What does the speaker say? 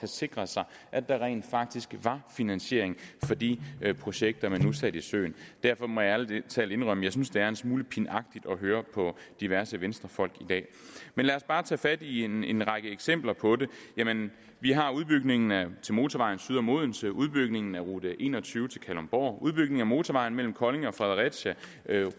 sikret sig at der rent faktisk var finansiering for de projekter man nu satte i søen derfor må jeg ærlig talt indrømme at jeg synes det er en smule pinagtigt at høre på diverse venstrefolk i dag lad os bare tage fat i en en række eksempler på det vi har udbygningen af motorvejen syd om odense udbygningen af rute en og tyve til kalundborg udbygningen af motorvejen mellem kolding og fredericia